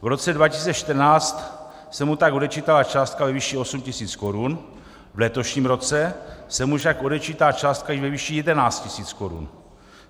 V roce 2014 se mu tak odečítala částka ve výši 8 tisíc korun, v letošním roce se mu však odečítá částka ve výši 11 tisíc korun.